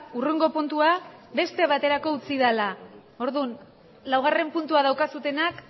hurrengo puntua beste baterako utzi dela orduan laugarren puntua daukazuenak